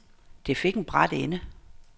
Det fik en brat ende.